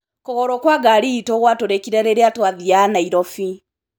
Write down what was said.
Kũgũrũ kwa ngari ĩĩtũ gwatũrĩkire rĩrĩa twathiaga Nairobi.